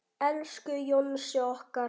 Elsku Jónsi okkar.